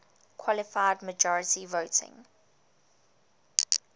qualified majority voting